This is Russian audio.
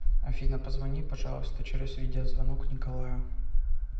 афина позвони пожалуйста через видеозвонок николаю